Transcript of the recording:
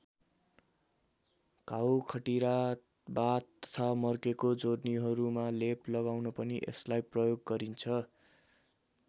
घाउ खटिरा बाथ तथा मर्केको जोर्नीहरूमा लेप लगाउन पनि यसलाई प्रयोग गरिन्छ।